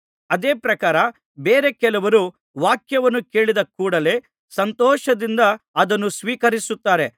ಅದೇ ಪ್ರಕಾರ ಬೇರೆ ಕೆಲವರು ವಾಕ್ಯವನ್ನು ಕೇಳಿದ ಕೂಡಲೆ ಸಂತೋಷದಿಂದ ಅದನ್ನು ಸ್ವೀಕರಿಸುತ್ತಾರೆ